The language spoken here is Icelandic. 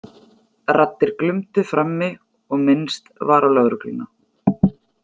Raddir glumdu frammi og minnst var á lögregluna.